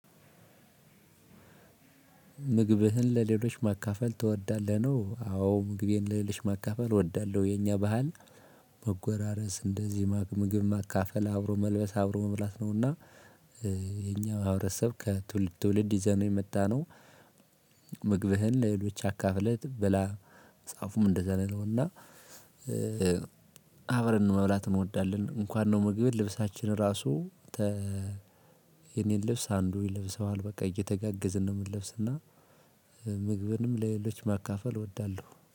ምግብህን ለሌሎች ማካፈል ትወዳለህ? ነው አዎ ምግቤን ለሌሎች ማካፈል እወዳለሁ። የኛ ባህል መጎራረስ እንደዚህ ምግብ ማካፈል አብሮ መልበስ አብሮ መብላት ነውና እንደ ማህበረሰብ ከትውልድ ትውልድ ይዘነው የመጣነው ምግብህን ለሌሎች አካፍለህ ብላ መጽሐፉም እንደዛ ነው ያለው እና አብረን መብላት እንወዳለን። እንኳን ምግብን ልብሳችን ራሱ የኔን ልብስ አንዱ ይለብሰዋል በቃ እየተጋገዝን ነው የምንለብስ እና ምግብን ለሌሎች ማካፈል እወዳለሁ።